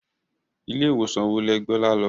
Ilé ìwòsàn wo lẹ gbé Ọlá lọ?